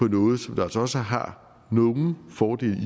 noget som altså også har nogle fordele i